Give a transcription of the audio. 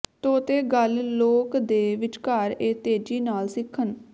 ਤੋਤੇ ਗੱਲ ਲੋਕ ਦੇ ਵਿਚਕਾਰ ਵਿੱਚ ਤੇਜ਼ੀ ਨਾਲ ਸਿੱਖਣ